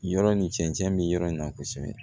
Yɔrɔ ni cɛncɛn be yɔrɔ in na kosɛbɛ